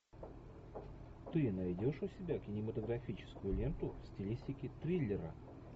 ты найдешь у себя кинематографическую ленту в стилистике триллера